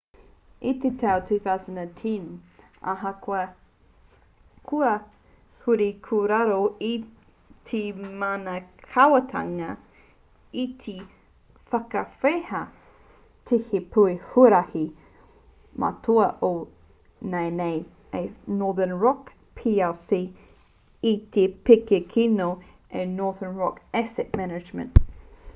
i te tau 2010 ahakoa kua huri ki raro i te mana kāwanatanga i whakawehea te pēke huarahi matua o nāianei a northern rock plc i te pēke kino a northern rock asset management